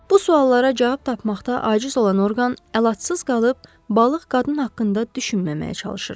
Bu suallara cavab tapmaqda aciz olan orqan əlacısız qalıb balıq qadın haqqında düşünməməyə çalışırdı.